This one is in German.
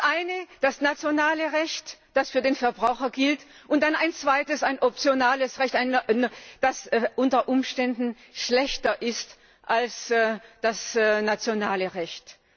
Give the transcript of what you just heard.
Zum einen das nationale Recht, das für den Verbraucher gilt, und dann ein zweites, ein optionales Recht, das unter Umständen schlechter ist als das nationale Recht.